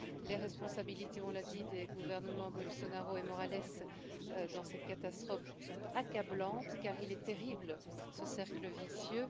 Les responsabilités, on l'a dit, des gouvernements Bolsonaro et Morales dans cette catastrophe sont accablantes, car il est terrible ce cercle vicieux.